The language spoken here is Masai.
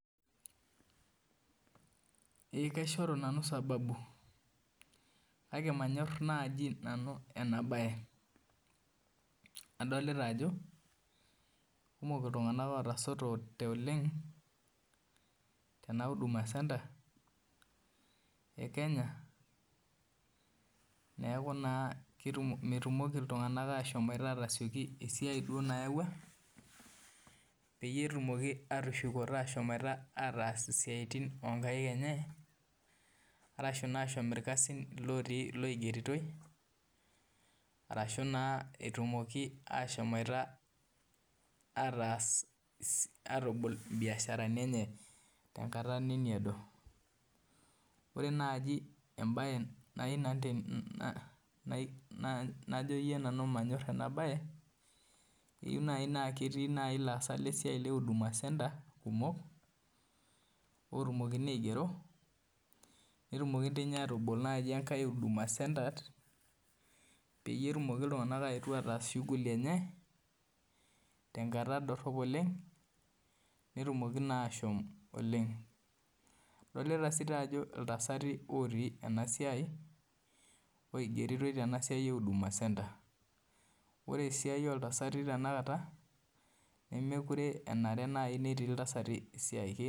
Eeh kaishoru nanu sababu kake manyor nanu ena baye adolita ajo eikumok iltung'anak ootasotote oleng tena huduma senta ekenya neeku naa metumoki iltung'anak aashom ataas enayaua ashuu metumoki aashom irkasin lootie iloigeritoi arashuu naa etumoki ashomoita atabol imbiasharini enye tenkata nemeedo ore naaji enajoyir manyor ena baye keyieu naaji naa ketii ilaasak le huduma center kumok atumokini aigero netumoki doi ninye aatabol enkae huduma center pee etumoki iltung'anak ataas shuguli enye tenkata dorop oleng netumoki naa ashom oleng adolita sii ajo intasati eigeritoi tena siai eduma center ore esiai ooltasati tenakat nemukure enare netii iltasati esiai